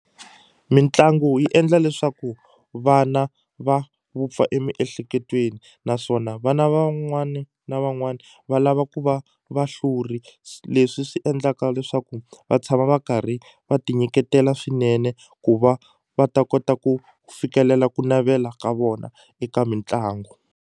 Mitlangu yi endla leswaku vana va wupfa emiehleketweni naswona vana van'wani na van'wani va lava ku va vahluri leswi swi endlaka leswaku va tshama va karhi va ti nyiketela swinene ku va va ta kota ku fikelela ku navela ka vona eka mitlangu.